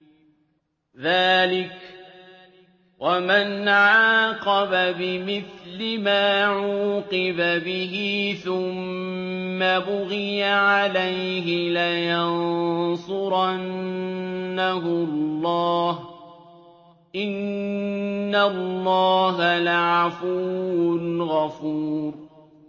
۞ ذَٰلِكَ وَمَنْ عَاقَبَ بِمِثْلِ مَا عُوقِبَ بِهِ ثُمَّ بُغِيَ عَلَيْهِ لَيَنصُرَنَّهُ اللَّهُ ۗ إِنَّ اللَّهَ لَعَفُوٌّ غَفُورٌ